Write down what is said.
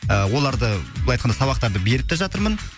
ы оларды былай айтқанда сабақтарды беріп те жатырмын